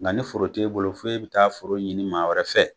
Nka foro t'e bolo fɔ e bi taa foro ɲini maa wɛrɛ fɛ.